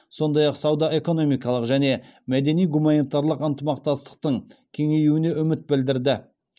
сондай ақ сауда экономикалық және мәдени гуманитарлық ынтымақтастықтың кеңеюіне үміт білдірді